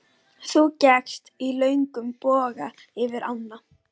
Þú gekkst í löngum boga yfir ána.